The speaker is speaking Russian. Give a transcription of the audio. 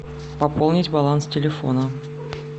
пополнить баланс телефона